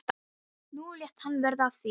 Nú lét hann verða af því.